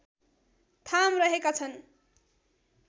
थाम रहेका छन्